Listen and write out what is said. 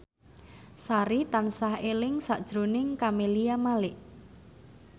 Sari tansah eling sakjroning Camelia Malik